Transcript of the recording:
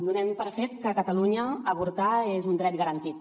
donem per fet que a catalunya avortar és un dret garantit